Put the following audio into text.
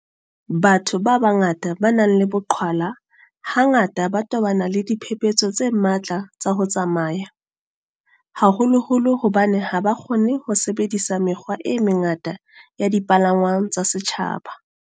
Batho ba bangata ba nang le boqhwala hangata ba tobana le diphephetso tse matla tsa ho tsamaya, haholoholo hobane ha ba kgone ho sebedisa mekgwa e mengata ya dipalangwang tsa setjhaba.